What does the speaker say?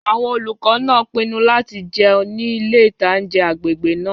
Àwọn olùkọ́ náà pinnu láti jẹun ní ilé-ìtánjẹ agbègbè náà